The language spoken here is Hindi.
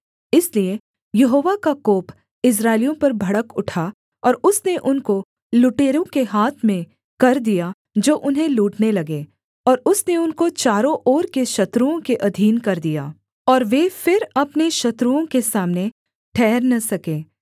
इसलिए यहोवा का कोप इस्राएलियों पर भड़क उठा और उसने उनको लुटेरों के हाथ में कर दिया जो उन्हें लूटने लगे और उसने उनको चारों ओर के शत्रुओं के अधीन कर दिया और वे फिर अपने शत्रुओं के सामने ठहर न सके